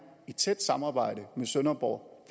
i tæt samarbejde med sønderborg